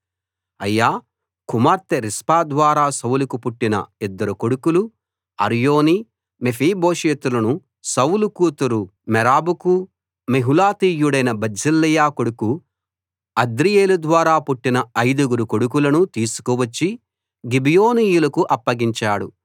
అయ్యా కుమార్తె రిస్పా ద్వారా సౌలుకు పుట్టిన యిద్దరు కొడుకులు అర్మోని మెఫీబోషెతులను సౌలు కూతురు మెరాబుకు మెహూలతీయుడైన బర్జిల్లయి కొడుకు అద్రీయేలు ద్వారా పుట్టిన ఐదుగురు కొడుకులను తీసుకువచ్చి గిబియోనీయులకు అప్పగించాడు